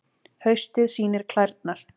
Haustið sýnir klærnar